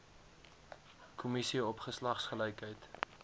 kommissie op geslagsgelykheid